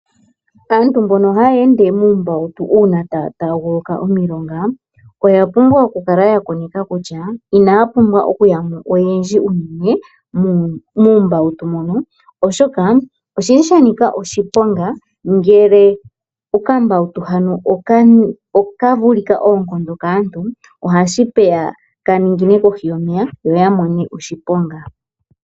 Aantu mbono haya ende muumbawutu uuna taya taaguluka omilonga , ota pumbwa oku kala ta koneka kutya inaya pumbwa okuyamo oyendji muumbawutu , mono oshoka osha nika oshiponga okambawutu hano oka vulika oonkondo kaantu ohashi vulika, kaningine kohi yoneya yo yamone oshiponga.